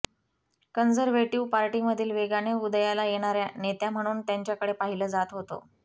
conservative पार्टीमधील वेगाने उदयाला येणाऱ्या नेत्या म्हणून त्यांच्याकडे पाहिलं जात होतं